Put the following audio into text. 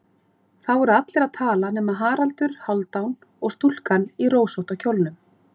Þó voru allir að tala nema Haraldur Hálfdán og stúlkan í rósótta kjólnum.